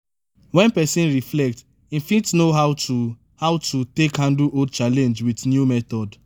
when person reflect im fit know how to how to take handle old challenge with new method